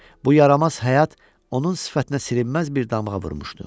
Bu yaramaz həyat onun sifətinə silinməz bir damğa vurmuşdu.